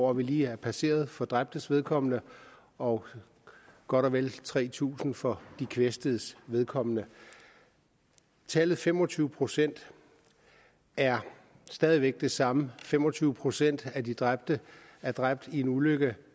år vi lige har passeret for dræbtes vedkommende og godt og vel tre tusind for de kvæstedes vedkommende tallet fem og tyve procent er stadig væk det samme fem og tyve procent af de dræbte er dræbt i en ulykke